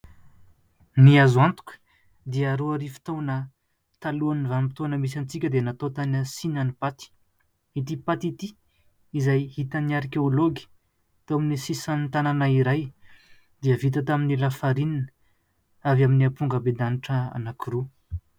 Ny azo antoka dia roa arivo taona talohan'ny vanim-potoana misy antsika dia natao tany Sina ny paty. Ity paty ity izay hitany arikology tao amin'ny sisan'ny tanàna iray dia vita tamin'ny lafarinina avy amin'ny ampongabendanitra anankiroa.